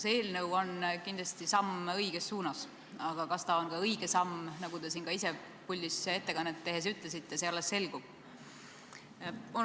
See eelnõu on kindlasti samm õiges suunas, aga kas see on päris õige samm, see alles selgub, nagu te ise puldis ettekannet tehes ka ütlesite.